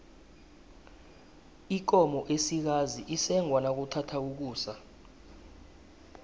ikomo esikazi isengwa nakuthatha ukusa